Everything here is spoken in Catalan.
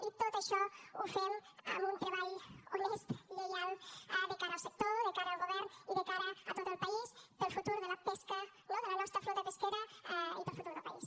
i tot això ho fem amb un treball honest lleial de cara al sector de cara al govern i de cara a tot el país per al futur de la pesca no de la nostra flota pesquera i per al futur del país